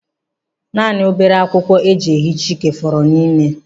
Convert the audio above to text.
Naanị obere akwụkwọ e ji ehicha ike fọrọ n'ime.